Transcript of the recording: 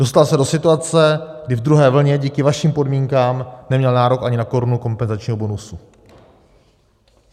Dostal se do situace, kdy ve druhé vlně díky vašim podmínkám neměl nárok ani na korunu kompenzačního bonusu.